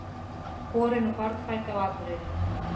Borin og barnfædd á Akureyri.